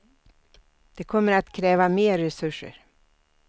Det kommer att kräva mer resurser.